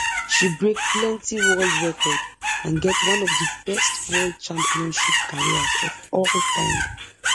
she break plenti world records and get one of di best world championship careers of all time